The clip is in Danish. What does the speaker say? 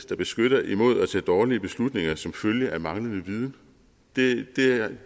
der beskytter imod at tage dårlige beslutninger som følge af manglende viden